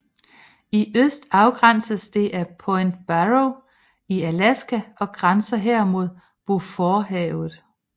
I øst afgrænses det af Point Barrow i Alaska og grænser her mod Beauforthavet